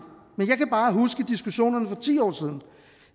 men jeg kan bare huske diskussionerne for ti år siden